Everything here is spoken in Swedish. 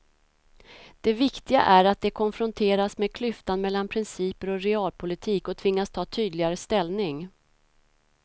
Det viktiga är att de konfronteras med klyftan mellan principer och realpolitik och tvingas ta tydligare ställning.